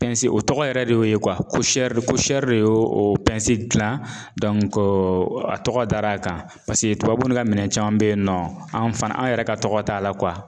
o tɔgɔ yɛrɛ de y'o ye de y'o dilan a tɔgɔ dar'a kan tubabu ni ka minɛn caman bɛ yen nɔ an fana an yɛrɛ ka tɔgɔ t'a la